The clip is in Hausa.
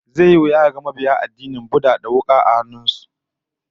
Zai yi wuya kaga mabiya addinin Buddha da huka a kan su